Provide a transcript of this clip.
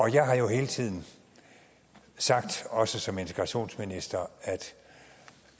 jeg har jo hele tiden sagt også som integrationsminister at